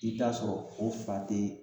I bi t'a sɔrɔ o fa te